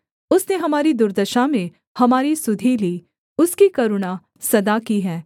उसने हमारी दुर्दशा में हमारी सुधि ली उसकी करुणा सदा की है